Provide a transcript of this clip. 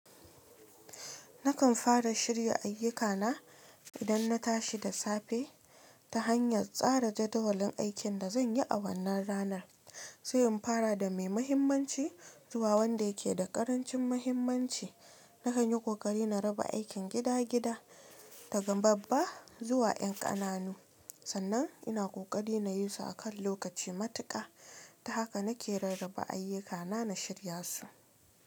Nakan fara shirya ayyukana idan na tashi da safe ta hanyar tsara jadawalin aikin da zan yi a wannan ranar, sai in fara da mai mahimmanci zuwa wanda yake da ƙarancin mahimmanci. Nakan yi kokari na raba aikin gida-gida, daga babba zuwa ƴan ƙananu. Sannan ina kokari na yi su a kan lokaci matuƙa. Ta haka nake rarraba ayyukana na shirya su.